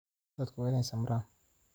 Dadku waa inay samraan.